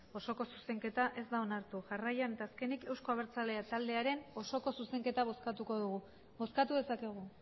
osoko zuzenketa ez da onartu jarraian eta azkenik euzko abertzalea taldearen osoko zuzenketa bozkatuko dugu bozkatu dezakegu